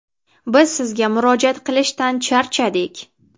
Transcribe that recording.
Biz esa murojaat qilishdan charchadik.